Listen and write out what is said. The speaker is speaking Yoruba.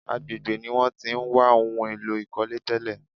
Agbègbè ní wọ́n tí ń wá ohun èlò ìkọ́lé tẹ́lè.